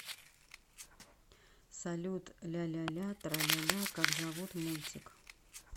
салют ляляля траляля как зовут мультик